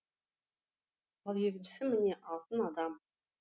ал екіншісі міне алтын адам